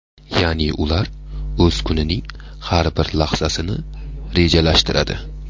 Ya’ni ular o‘z kunining har bir lahzasini rejalashtiradi.